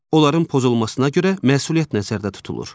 Onların pozulmasına görə məsuliyyət nəzərdə tutulur.